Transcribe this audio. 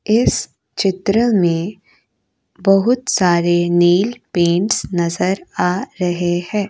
इस चित्र में बहुत सारे नेलपेंट्स नजर आ रहे हैं।